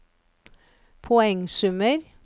poengsummer